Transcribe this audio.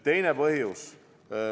Teine põhjus.